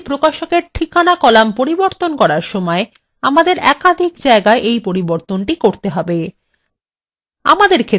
এখন এই প্রকাশকএর ঠিকানা column পরিবর্তন করার সময় আমাদের একাধিক জায়গায় এই পরিবর্তনটি করতে হবে